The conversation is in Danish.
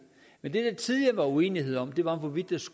men det der tidligere var uenighed om var hvorvidt